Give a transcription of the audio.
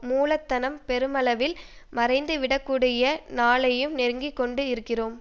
மூலதனம் பெருமளவில் மறைந்து விடக்கூடிய நாளையும் நெருங்கி கொண்டு இருக்கிறோம்